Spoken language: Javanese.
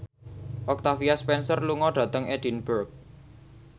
Octavia Spencer lunga dhateng Edinburgh